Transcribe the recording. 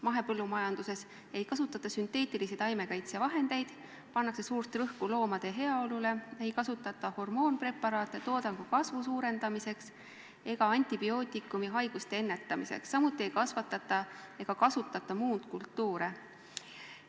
Mahepõllumajanduses ei kasutata sünteetilisi taimekaitsevahendeid, pannakse suurt rõhku loomade heaolule, ei kasutata hormoonpreparaate toodangu kasvu suurendamiseks ega antibiootikume haiguste vastu, samuti ei kasvatata ega kasutata muundkultuure.